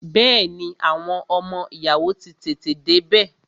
Bẹẹni, àwọn ọmọ ìyàwó ó tètè dé bẹ